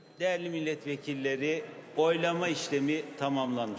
Dəyərli millət vəkilləri, səsvermə prosesi tamamlanmışdır.